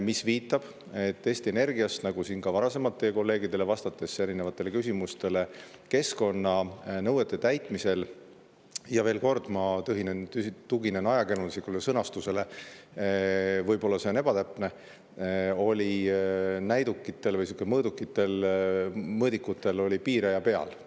See viitab, et Eesti Energias, nagu siin on ka varasemalt teie kolleegide erinevatele küsimustele vastatud, oli keskkonnanõuete täitmisel – ja veel kord, ma tuginen ajakirjanduslikule sõnastusele, võib-olla see on ebatäpne – näidikutel või mõõdikutel piiraja peal.